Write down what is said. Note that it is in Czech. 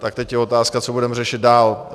Tak teď je otázka, co budeme řešit dál.